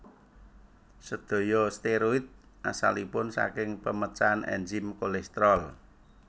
Sédaya steroid asalipun saking pemecahan ènzim kolesterol